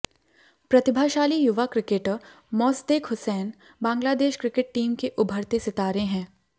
प्रतिभाशाली युवा cricketer Mosaddek Hossain Bangladesh cricket team के उभरते सितारे हैं